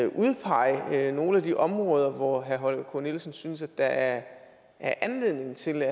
udpege nogle af de områder hvor herre holger k nielsen synes at der er anledning til